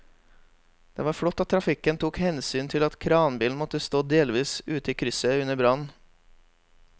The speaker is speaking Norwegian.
Det var flott at trafikken tok hensyn til at kranbilen måtte stå delvis ute i krysset under brannen.